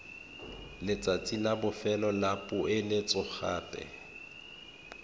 letsatsi la bofelo la poeletsogape